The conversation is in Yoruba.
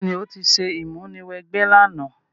Béèní, o ti se ìmúniwẹgbẹ́ làná